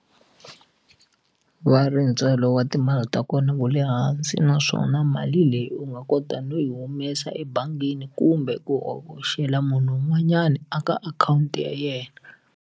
Va ri ntswalo wa timali ta kona wu le hansi naswona mali leyi u nga kota no yi humesa ebangini kumbe ku hoxela munhu un'wanyani a ka akhawunti ya yena.